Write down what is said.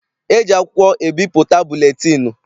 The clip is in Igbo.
E ji akwụkwọ ebipụta buletịịnụ.